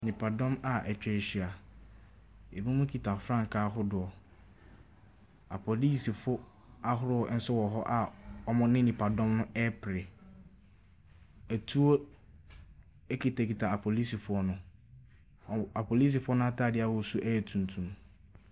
Nnipadɔm a wɔatwa ahyia. Ebinom kita frankaa ahodoɔ. Apolisifo ahorow nso wɔ hɔ a wɔne nnipadɔm no repere. Atuo kitakita apolisifoɔ no. Wɔ apolisifoɔ no atadeɛ a wɔhyɛ yɛ tuntum.